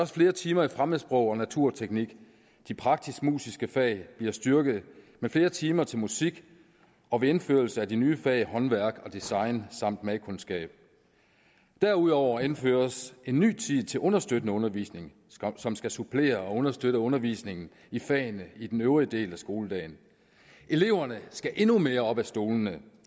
flere timer i fremmedsprog og naturteknik de praktiskmusiske fag bliver styrket med flere timer til musik og ved indførelse af de nye fag håndværk og design samt madkundskab derudover indføres en ny tid til understøttende undervisning som skal supplere og understøtte undervisningen i fagene i den øvrige del af skoledagen eleverne skal endnu mere op af stolene